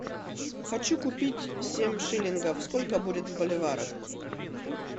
хочу купить семь шиллингов сколько будет в боливарах